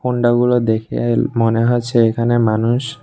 দেখে মনে হচ্ছে এখানে মানুষ--